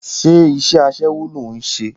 Ṣé iṣẹ́ aṣẹ́wó ló ń ṣe?